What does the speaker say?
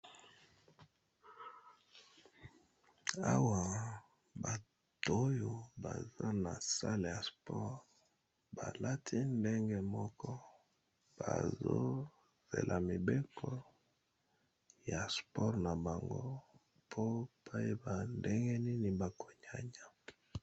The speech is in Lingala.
Awa bato oyo baza na sale ya sport, ba lati ndenge moko bazo zela mibeko ya sport na bango po bacyeba ndenge nini bako nyanya .